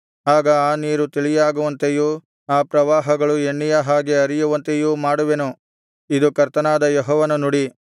ಆಗ ಆ ನೀರು ತಿಳಿಯಾಗುವಂತೆಯೂ ಆ ಪ್ರವಾಹಗಳು ಎಣ್ಣೆಯ ಹಾಗೆ ಹರಿಯುವಂತೆಯೂ ಮಾಡುವೆನು ಇದು ಕರ್ತನಾದ ಯೆಹೋವನ ನುಡಿ